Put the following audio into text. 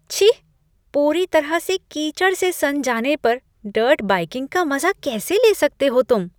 छी! पूरी तरह से कीचड़ से सन जाने पर डर्ट बाइकिंग का मजा कैसे ले सकते हो तुम?